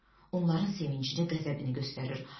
Onların sevincini, qəzəbini göstərir.